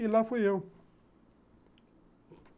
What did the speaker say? E lá fui eu.